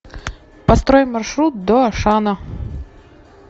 построй маршрут до ашана